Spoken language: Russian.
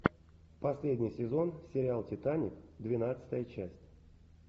последний сезон сериал титаник двенадцатая часть